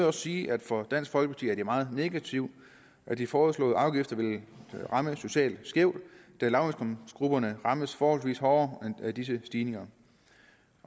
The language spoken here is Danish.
også sige at for dansk folkeparti er det meget negativt at de foreslåede afgifter vil ramme socialt skævt da lavindkomstgrupperne rammes forholdsvis hårdere af disse stigninger